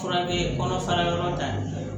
Fura be kɔnɔ fara yɔrɔ ta